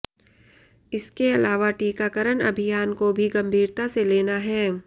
इसके अलावा टीकाकरण अभियान को भी गम्भीरता से लेना है